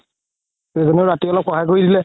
দুইজনে ৰাতি অলপ সহায় কৰি দিলে